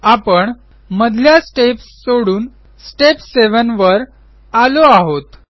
आपण मधल्या स्टेप्स सोडून स्टेप 7 वर आलो आहोत